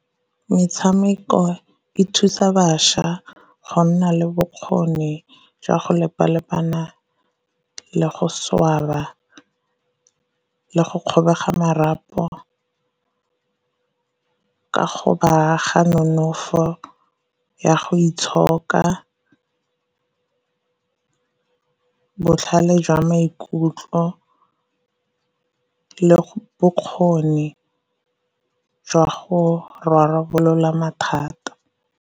Metshameko e thusa bašwa go nna le bokgoni jwa go lepa-lepana le go swaba le go kgobega marapo, ka go baaga nonofo ya go itshoka, botlhale jwa maikutlo, le bokgoni jwa go rarabolola mathata.